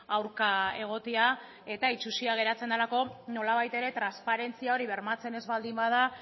aurka egotea eta itsusia geratzen delako nolabait ere transparentzia hori bermatzen ez baldin bada